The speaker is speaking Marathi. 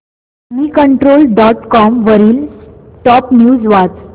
मनीकंट्रोल डॉट कॉम वरील टॉप न्यूज वाच